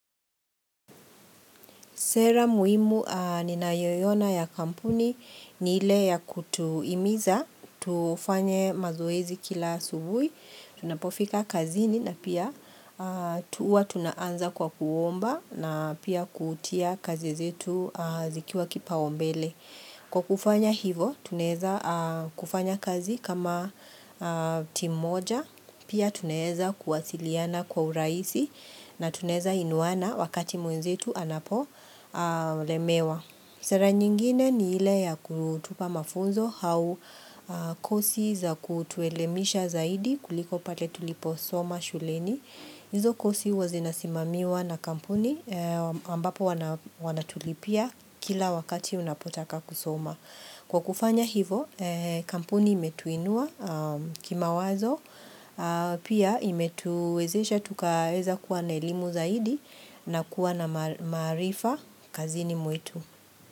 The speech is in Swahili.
Sera muhimu ninayoiona ya kampuni ni ile ya kutuimiza, tufanye mazoezi kila asubuhi, tunapofika kazini na pia tuwa tunaanza kwa kuomba na pia kutia kazi zetu zikiwa kipaumbele. Kwa kufanya hivo, tunaeza kufanya kazi kama timu moja, pia tunaeza kuwasiliana kwa urahisi na tunaeza inuana wakati mwenzetu anapo lemewa. Sera nyingine ni ile ya kutupa mafunzo hau kosi za kutuelemisha zaidi kuliko pale tulipo soma shuleni. Izo kosi huwa zinasimamiwa na kampuni ambapo wanatulipia kila wakati unapotaka kusoma. Kwa kufanya hivo, kampuni imetuinua kimawazo, pia imetuwezesha tukaweza kuwa na elimu zaidi na kuwa na maarifa kazini mwetu.